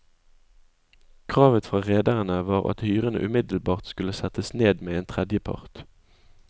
Kravet fra rederne var at hyrene umiddelbart skulle settes ned med en tredjepart.